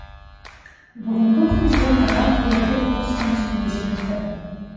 бүгінгі күнде қазақ елі бір туыстың үстіне жетіпті